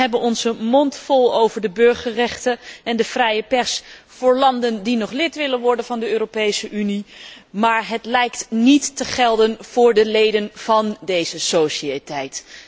We hebben onze mond vol over de burgerrechten en de vrije pers voor landen die nog lid willen worden van de Europese Unie, maar het lijkt niet te gelden voor de leden van deze sociëteit.